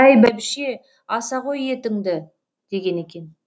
әй бәйбіше аса ғой етіңді деген екен